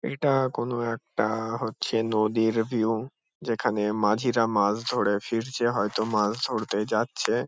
এটা কোনো একটা হচ্ছে নদীর ভিউ । যেখানে মাঝিরা মাছ ধরে ফিরছে হয়তো মাছ ধরতে যাচ্ছে ।